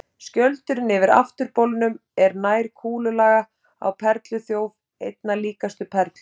Skjöldurinn yfir afturbolnum er nær kúlulaga á perluþjóf, einna líkastur perlu.